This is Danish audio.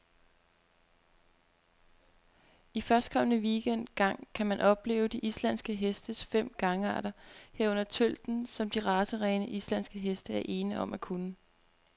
I førstkommende weekend gang kan man opleve de islandske hestes fem gangarter, herunder tølten, som de racerene, islandske heste er ene om at kunne.